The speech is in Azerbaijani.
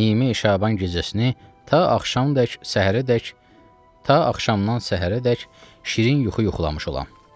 Nimi Şaban gecəsini ta axşamadək, səhərədək, ta axşamdan səhərədək şirin yuxu yuxulamış olam.